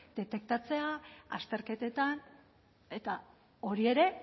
detektatzea azterketetan eta hori ere